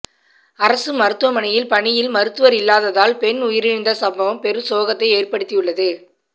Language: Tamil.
அரசு மருத்துவமனையில் பணியில் மருத்துவர் இல்லாததால் பெண் உயிரிழந்த சம்பவம் பெரும் சோகத்தை ஏற்படுத்தியுள்ளது